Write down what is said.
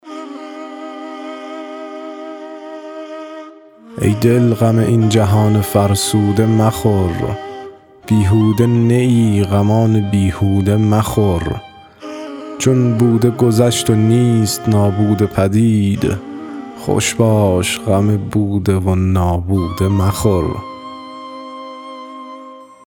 ای دل غم این جهان فرسوده مخور بیهوده نه ای غمان بیهوده مخور چون بوده گذشت و نیست نابوده پدید خوش باش غم بوده و نابوده مخور